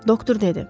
Doktor dedi: